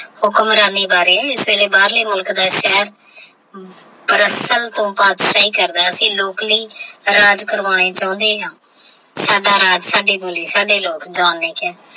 ਬਾਰੇ ਫੇਰ ਬਾਹਰ ਲੈ ਮੁਲਕ ਦਾ ਹਮ ਪਰ ਅਸਲ ਵਿੱਚ ਅਸੀਂ ਲੋਕ ਲਈ ਰਾਜ ਕਰਵਾਂਦ ਕਾਰਵਾਣੇ ਸਾਡਾ ਰਾਜ ਸਾਡਾ ਬੋਲ ਸਾਡੇ ਲੋਕ JOHN